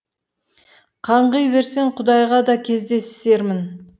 қаңғи берсем құдайға да кездесермін